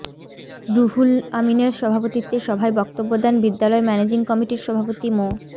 রুহুল আমীনের সভাপতিত্বে সভায় বক্তব্য দেন বিদ্যালয় ম্যানেজিং কমিটির সভাপতি মো